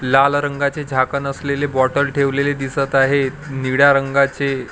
लाल रंगाचे झाकण असलेली बॉटल ठेवलेली दिसत आहे निळ्या रंगाचे--